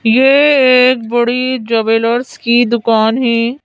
ये एक बड़ी जवेलर्स की दुकान है।